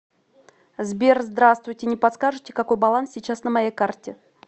сбер здравствуйте не подскажите какой баланс сейчас на моей карте